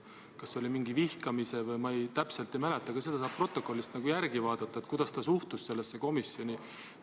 Kas see oli midagi vihkamise kohta või ma täpselt ei mäleta, aga seda saab protokollist järele vaadata, kuidas ta suhtus sellesse komisjoni.